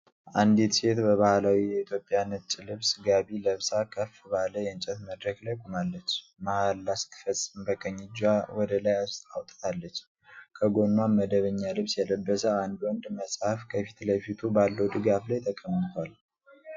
አንዲት ሴት በባህላዊ የኢትዮጵያ ነጭ ልብስ (ጋቢ) ለብሳ ከፍ ባለ የእንጨት መድረክ ላይ ቆማለች። መሐላ ስትፈጽም በቀኝ እጇ ወደ ላይ አውጥታለች፣ ከጎኗም መደበኛ ልብስ የለበሰ አንድ ወንድ መጽሐፍ ከፊት ለፊቱ ባለው ድጋፍ ላይ ተቀምጧል።